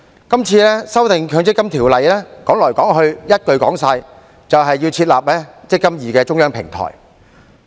今次的《條例草案》，說來說去，一句話便能總結，便是設立"積金易"的中央平台。